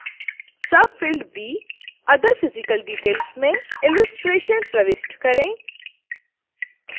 subfield b other physical details में illustration प्रविष्ट करें